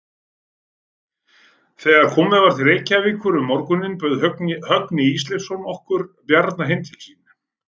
Þegar komið var til Reykjavíkur um morguninn bauð Högni Ísleifsson okkur Bjarna heim til sín.